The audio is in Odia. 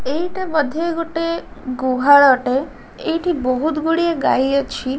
ଏଇଟା ବଧେ ଗୋଟେ ଗୁହାଳଟେ ଏଇଠି ବହୁତ୍ ଗୁଡ଼ିଏ ଗାଈ ଅଛି।